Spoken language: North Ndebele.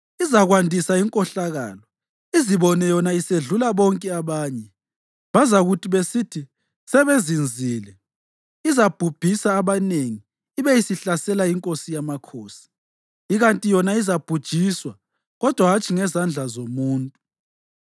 Izakwandisa inkohlakalo, izibone yona isedlula bonke abanye. Bazakuthi besithi sebezinzile, izabhubhisa abanengi ibe isihlasela iNkosi yamakhosi. Ikanti yona izabhujiswa kodwa hatshi ngezandla zomuntu.